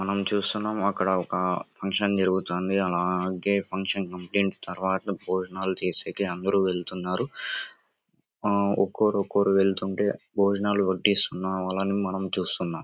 మనం చూస్తున్నాం అక్కడ ఒక ఫంక్షన్ జరుగుతుంది. అలాగే ఫంక్షన్ అయిపోయిన తరువాత భోజనాలు చేశాకే అందరూ వెళ్తున్నారు. ఆ ఒక్కోరు ఒక్కోరు వెళ్తుంటే భోజనాలు వడ్డిస్తున్న వాళ్ళని మనం చూస్తున్నాం.